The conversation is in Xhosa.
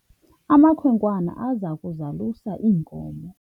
amakhwenkwana aza kuzalusa iinkomo